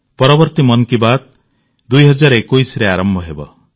ପରବର୍ତ୍ତୀ ମନ୍ କି ବାତ୍ 2021ରେ ଆରମ୍ଭ ହେବ